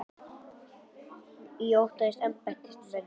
Og ég óttaðist að embættismönnum innan